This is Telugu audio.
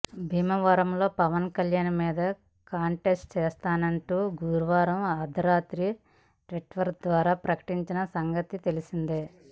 భీమవరంలో పవన్ కళ్యాణ్ మీద కంటెస్ట్ చేస్తాను అంటూ గురువారం అర్దరాత్రి ట్విట్టర్ ద్వారా ప్రకటించిన సంగతి తెలిసిందే